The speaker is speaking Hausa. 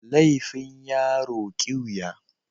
Laifin yaro kiwiya.